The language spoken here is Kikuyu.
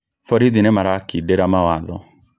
Borithi nĩmarakindĩra mawatho